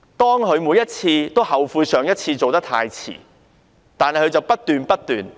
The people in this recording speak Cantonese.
當她每次皆後悔上一次做得太遲時，她卻不斷做錯。